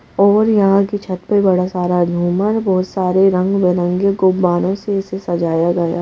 और यहाँ की छत पर बड़ा सारा झुमर बहुत सारे रंग बरंगे गोबानों से इसे सजाया गया --